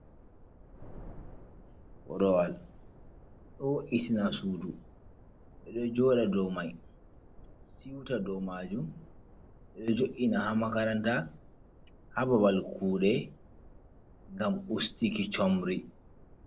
Korowal ɗo wo’itina sudu, ɓeɗo joɗa dow mai siuta dow majum, ɓeɗo jo'ina ha makaranta, ha babal kuɗe ngam ustuki chomri.